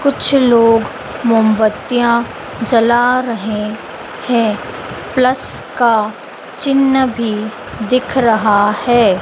कुछ लोग मोबत्तियां जला रहे हैं प्लस का चिन्ह भी दिख रहा है।